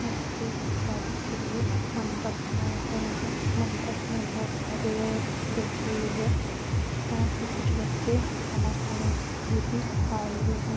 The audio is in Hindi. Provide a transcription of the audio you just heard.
यहाँ पे शादी के लिए मंडप बनाये गए है मंडप में बोहोत सारी औरत बैठी हुई है यहाँ पे कुछ बच्चे खाना खाने के लिए भी आए हुए है।